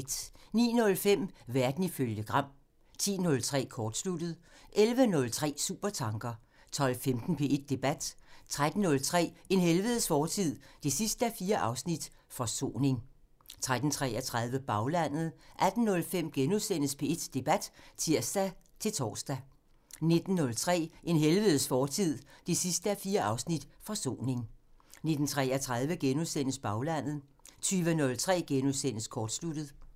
09:05: Verden ifølge Gram (tir) 10:03: Kortsluttet (tir) 11:03: Supertanker (tir) 12:15: P1 Debat (tir-tor) 13:03: En helvedes fortid 4:4 – Forsoning 13:33: Baglandet (tir) 18:05: P1 Debat *(tir-tor) 19:03: En helvedes fortid 4:4 – Forsoning 19:33: Baglandet *(tir) 20:03: Kortsluttet *(tir)